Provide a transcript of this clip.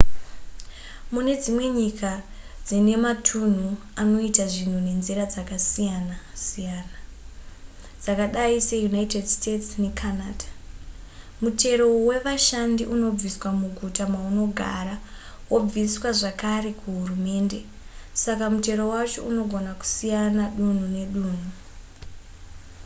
mune dzimwe nyika dzine matunhu anoita zvinhu nenzira dzakasiyana-siyana dzakadai seunited states necanada mutero wevashandi unobviswa muguta maunogara wobviswa zvakare kuhurumende saka mutero wacho unogona kusiyana dunhu nedunhu